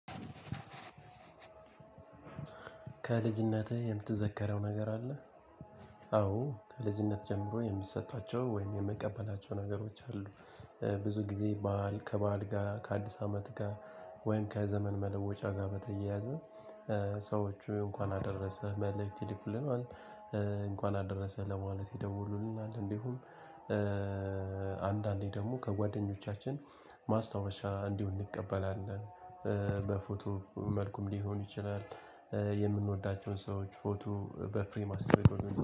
ከልጅነቴ የምትዘከረው ነገር አለ? አዎ ከልጅነት ጀምሮ የምትሰጧቸው ወይም የምቀበላቸው ነገሮች አሉ። ብዙ ጊዜ ከባዕል ጋር ከአዲስ አመት ጋር። ወይም ከዘመን መለወጫ ጋር በተያያዘ። ሰዎች እንኳን አደረሰ መልእክት ይልኩልኛል። እንኳን አደረሰ ለማለት ይደውሉልኛል እንዲሁም። አንዳንዴ ደግሞ ከጓደኞቻችን ማስታወሻ እንዲሆን እንቀበላለን። በፎቶ መልኩም ሊሆኑ ይችላል። የምንወዳቸውን ሰዎች ፎቶ በፍሬም አስቀምጦ